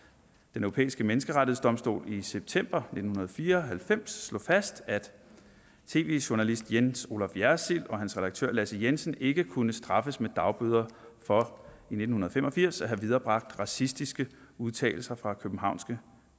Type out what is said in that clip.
europæiske menneskerettighedsdomstol i september nitten fire og halvfems slog fast at tv journalist jens olaf jersild og hans redaktør lasse jensen ikke kunne straffes med dagbøder for i nitten fem og firs at have viderebragt racistiske udtalelser fra københavnske